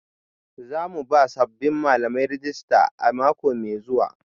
Za mu ba sabbin malaman rajista a mako mai zuwa